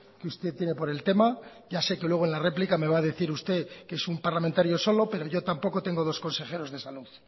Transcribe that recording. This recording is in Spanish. que usted tiene por el tema ya sé que luego en la réplica me va a decir usted que es un parlamentario solo pero yo tampoco tengo dos consejeros de salud